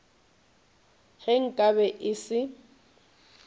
ge nka be e se